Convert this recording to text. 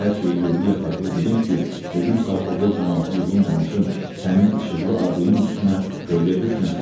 Hər şeyi yerli yataqlı bilim ki, gedim sovxozda camaatı yığım danışım, sənin işıqlı adının üstünə kölgə düşməsin.